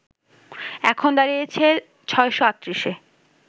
এখন দাড়িয়েছে ৬৩৮ এ